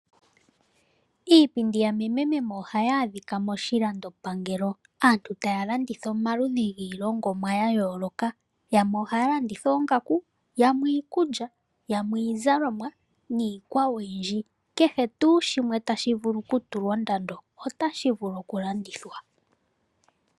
Iipindi ya meme ohayi adhika moshilandopangelo aantu taya landitha omaludhi giilongonwa ya yooloka yamwe ohaya landitha oongaku yamwe iikulya ,yamwe iizalomwa niikwawo oyundji kehe tuu shimwe tashi vulu oku tulwa ondando otashi vulu okulandithwa.